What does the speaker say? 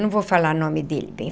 Não vou falar o nome dele, bem.